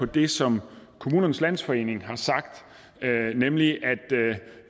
det som kommunernes landsforening har sagt nemlig at